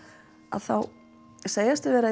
þá segjast þau vera